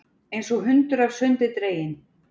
Einsog hundur af sundi dreginn.